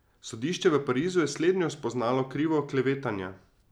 Sodišče v Parizu je slednjo spoznalo krivo klevetanja.